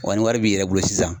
Wa ni wari b'i yɛrɛ bolo sisan